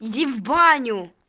иди в баню